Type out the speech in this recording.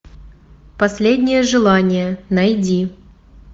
последнее желание найди